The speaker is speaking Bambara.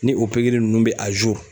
Ni o ninnu bɛ